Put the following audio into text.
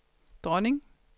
dronning